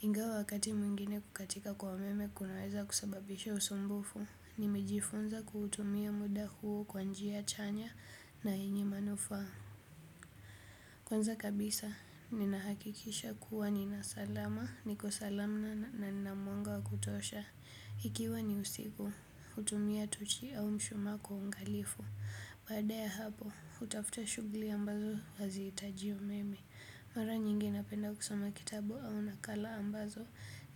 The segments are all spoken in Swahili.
Ingawa wakati mwingine kukatika kwa umeme kunaweza kusababisha usumbufu, nimejifunza kutumia muda huo kwa njia chanya na yenye manufaa. Kwanza kabisa, ninahakikisha kuwa nina salama, niko salama na nina mwanga wa kutosha. Ikiwa ni usiku, hutumia tochi au mshumaa kwa uangalifu. Baada ya hapo, hutafuta shughuli ambazo hazihitaji meme. Mara nyingi napenda kusoma kitabu au nakala ambazo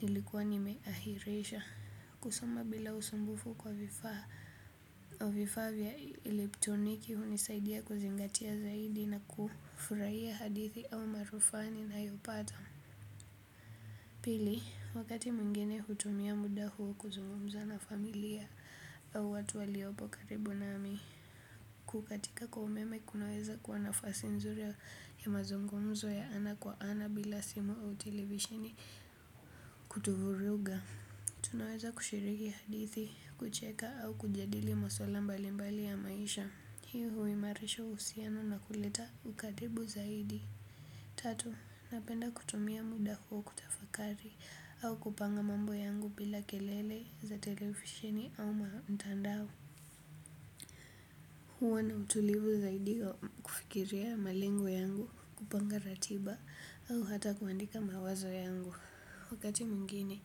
nilikuwa nimeaihirisha. Kusoma bila usumbufu kwa vifaa vya elektroniki hunisaidia kuzingatia zaidi na kufurahia hadithi au maarifa ninayopata. Piki, wakati mwingine hutumia muda huo kuzungumza na familia au watu waliopo karibu nami. Kukatika kwa umeme kunaweza kuwa nafasi nzuri ya mazungumzo ya ana kwa ana bila simu au televisheni kutuvuruga tunaweza kushiriki hadithi, kucheka au kujadili masuala mbalimbali ya maisha. Hii huimarisha uhusiano na kuleta ukatibu zaidi. Tatu, napenda kutumia muda wangu kutafakari au kupanga mambo yangu bila kelele za televisheni au mtandao. Huwa na utulivu zaidi kufikiria malengo yangu, kupanga ratiba au hata kuandika mawazo yangu. Wakati mwingine,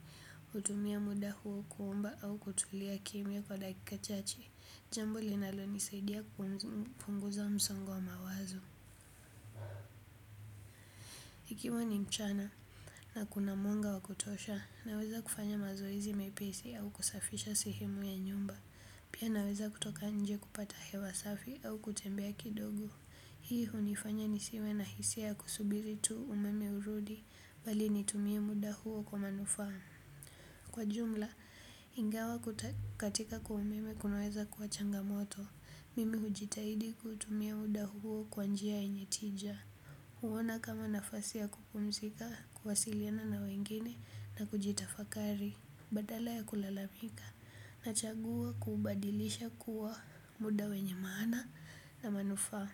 hutumia muda huo kuomba au kutulia kimya kwa dakika chache, jambo linalonisaidia kupunguza msongo wa mawazo. Ikiwa ni mchana na kuna mwanga wa kutosha, naweza kufanya mazoezi mepesi au kusafisha sehemu ya nyumba. Pia naweza kutoka nje kupata hewa safi au kutembea kidogo. Hii hufanya nisiwe na hisia ya kusubiri tu umeme urudi, bali nitumie muda huo kwa manufaa. Kwa jumla, ingawa kukatika kwa umeme kunaweza kuwa changamoto, mimi hujitahidi kutumia muda huo kwa njia yenye tija. Huona kama nafasi kupumzika, kuwasiliana na wengine na kujitafakari. Badala ya kulalamika, nachagua kubadilisha kuwa muda wenye maana na manufa.